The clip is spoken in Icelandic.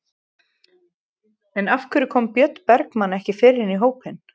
En af hverju kom Björn Bergmann ekki fyrr inn í hópinn?